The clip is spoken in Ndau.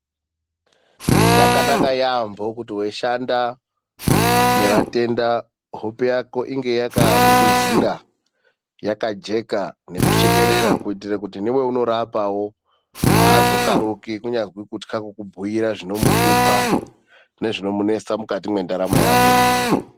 Zvakanaka yaamho kuti weishanda nevatenda hope yako inge yakangwizira, yakajeka nekushekerera kuitira kuti neweunorapawo azokaruki kunyari kutya kubhuira zvino muhlupa nezvinomunetsa mukati mendaramo yake .